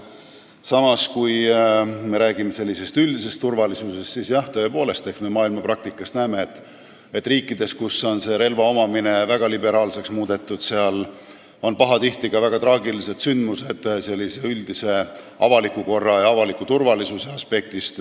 Samas, kui me räägime üldisest turvalisusest, siis jah, tõepoolest, me maailmapraktikast näeme, et riikides, kus on relva omamine väga liberaalseks muudetud, on pahatihti ka väga traagilisi sündmusi üldise avaliku korra ja turvalisuse aspektist.